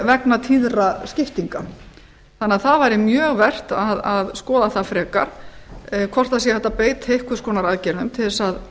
vegna tíðra skiptinga þannig að það væri mjög vert að skoða það frekar hvort hægt sé að beita einhvers konar aðgerðum til þess að